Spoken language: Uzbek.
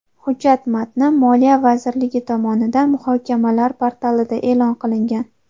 Hujjat matni Moliya vazirligi tomonidan muhokamalar portalida e’lon qilingan.